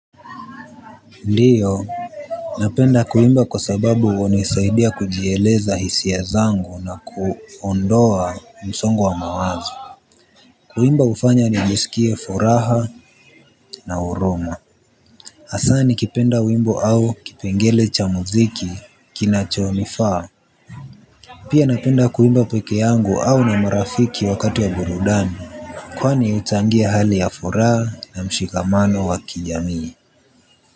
Ndiyo. Napenda kuimba kwa sababu hunisaidia kujieleza hisia zangu na kuondoa msongo wa mawazo. Kuimba hufanya nijisikie furaha na huruma. Hasa ni kipenda wimbo au kipengele cha muziki kinacho nifaa. Pia napenda kuimba peke yangu au na marafiki wakati ya burudani. Kwani huchangia hali ya furaha na mshikamano wa kijamii.